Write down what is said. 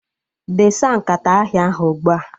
Desa nkata ahịa ahụ ugbua!